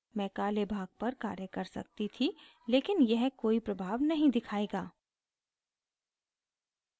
मैं काले भाग पर कार्य कर सकती थी लेकिन यह कोई प्रभाव नहीं दिखायेगा